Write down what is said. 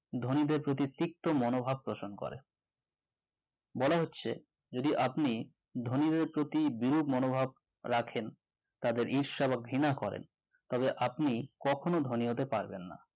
ধনীদের প্রতি তিক্ত মনোভাব পোষণ করে বলা হচ্ছে যদি আপনি ধনীদের প্রতি বিরোধ মনোভাব রাখেন তাদের ঈর্ষা বা ঘৃণা করেন তাহলে আপনি কখনো ধনী হতে পারবেন না